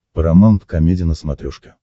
парамаунт комеди на смотрешке